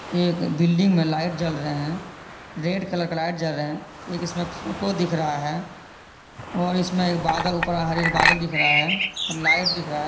एक बिल्डिंग में लाइट जल रहे है रेड कलर का लाइट जल रहे है एक इसमे फोटो दिख रहा है और इसमे एक बादल ऊपर हरे हरे बादल दिख रहा है लाइट दिख रहा।